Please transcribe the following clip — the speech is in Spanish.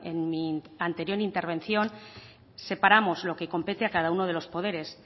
en mi anterior intervención separamos lo que compete a cada uno de los poderes